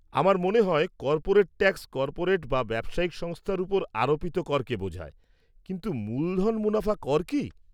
আমার মনে হয় কর্পোরেট ট্যাক্স কর্পোরেট বা ব্যবসায়িক সংস্থার উপর আরোপিত করকে বোঝায়, কিন্তু মূলধন মুনাফা কর কি?